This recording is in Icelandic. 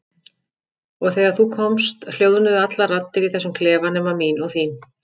Og þegar þú komst hljóðnuðu allar raddir í þessum klefa nema mín og þín.